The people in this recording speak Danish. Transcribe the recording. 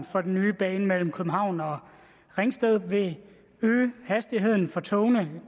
for den nye bane mellem københavn og ringsted vil øge hastigheden for togene